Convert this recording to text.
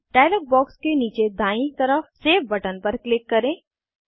अब dialog box के नीचे दायीं तरफ सेव बटन पर क्लिक करें